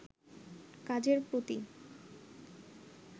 কাজের প্রতি